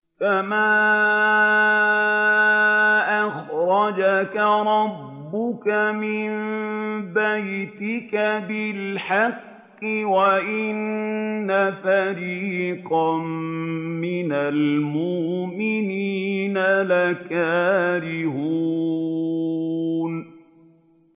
كَمَا أَخْرَجَكَ رَبُّكَ مِن بَيْتِكَ بِالْحَقِّ وَإِنَّ فَرِيقًا مِّنَ الْمُؤْمِنِينَ لَكَارِهُونَ